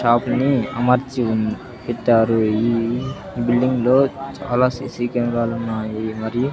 top ని అమర్చి ఉన్ పెట్టారు ఈ బిల్డింగ్ లో చాలా సీసీ కెమెరాలున్నాయి మరియు--